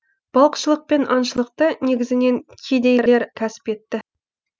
балықшылық пен аңшылықты негізінен кедейлер кәсіп етті